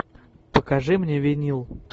покажи мне винил